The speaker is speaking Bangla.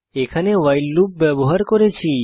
এখানে ভাইল লুপ ব্যবহার করেছি